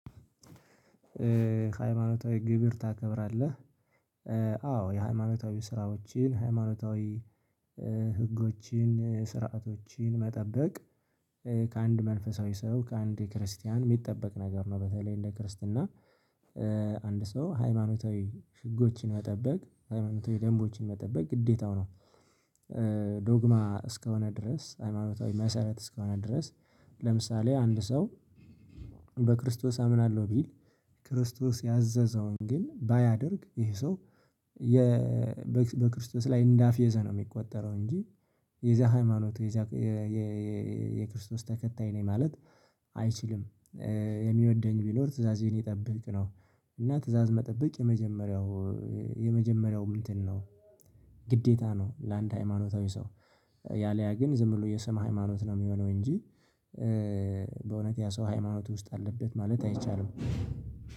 ሃይማኖታዊ ግብር ታከብራለህ? አዎ የሃይማኖታዊ ስራዎችን ሃይማኖታዊ ህጎችን ስርዓቶችን መጠበቅ ከአንድ መንፈሳዊ ሰው ከአንድ ክርስቲያን ሚጠበቅ ነገር ነው በተለይ እንደ ክርስትና አንድ ሰው ሃይማኖታዊ ህጎችን መጠበቅ ሃይማኖት ደንቦችን መጠበቅ ግዴታው ነው። ዶግማ እስከሆነ ድረስ ሃይማኖታዊ መሰረት እስከሆነ ድረስ ለምሳሌ አንድ ሰው በክርስቶስ አምናለሁ ቢል ክርስቶስ ያዘዘውን ግን ባያደርግ ይሄ ሰው በክርስቶስ ላይ እንዳፌዘ ነው የሚቆጠረው እንጂ የዚያ ሃይማኖት የዚያ የክርስቶስ ተከታይ ነኝ ማለት አይችልም። የሚወደኝ ቢኖር ትእዛዜን የጠበቅ ነው። እና ትእዛዝ መጠበቅ የመጀመሪያው የመጀመሪያውም እንትን ነው ግዴታ ነው። ለአንድ ሃይማኖታዊ ሰው ያለያ ግን ዝም ብሎ የሰማ ሃይማኖት ነው የሚሆነው። እንጂ በእውነት ያ ሰው ሃይማኖት ውስጥ አለበት ማለት አይቻልም።